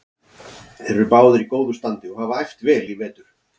Þeir eru báðir í góðu standi og hafa æft vel í vetur.